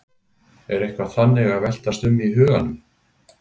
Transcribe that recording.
Er eitthvað þannig að veltast um í huganum?